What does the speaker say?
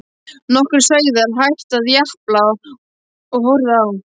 Nokkrir sauðir hættu að japla og horfðu á.